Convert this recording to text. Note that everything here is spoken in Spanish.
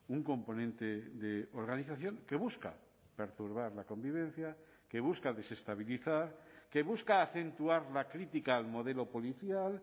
un componente de organización que busca perturbar la convivencia que busca desestabilizar que busca acentuar la crítica al modelo policial